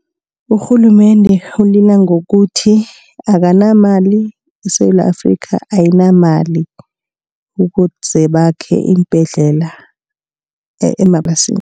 Urhulumende ulila ngokuthi akanamali. ISewula Afrika ayinamali ukuze bakhe iimbhedlela emaplasini.